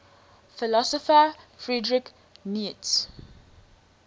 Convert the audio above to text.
philosopher friedrich nietzsche